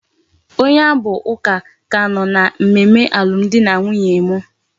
Onye abu uka ka ano na mmemme alum di na nwunye m